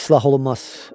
İslah olunmaz!